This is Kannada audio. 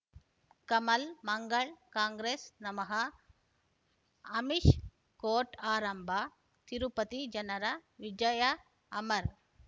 ಕಮಲ್ ಮಂಗಳ್ ಕಾಂಗ್ರೆಸ್ ನಮಃ ಅಮಿಷ್ ಕೋರ್ಟ್ ಆರಂಭ ತಿರುಪತಿ ಜನರ ವಿಜಯ ಅಮರ್